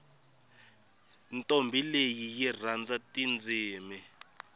ntombhi leyi yi rhandza tindzimi